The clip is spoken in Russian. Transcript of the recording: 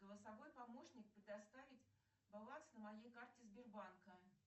голосовой помощник предоставить баланс на моей карте сбербанка